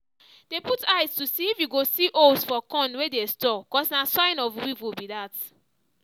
dey put eye to see if you go holes for corn wey dey store cos na sign of weevil be that